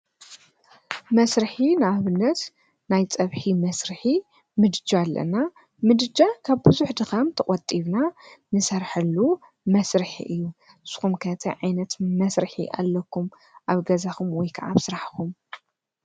መስርሒ ንኣብነት ናይ ፀብሒ መስርሒ ምድጃ ኣለና፡፡ ምድጃ ካብ ብዙሐ ድኻም ተቖጢብና ንሠርሓሉ መስርሒ እዩ፡፡ ንስኹም ከ ታይ ዓይነት መሥርሒ ኣለኩም? ኣብ ገዛኹምወይ ከዓ ኣብ ስራሕኹም?